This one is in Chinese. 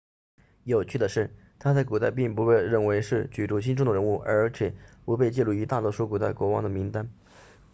有趣的是他在古代并不被认为是举足轻重的人物而且不被记录于大多数古代国王的名单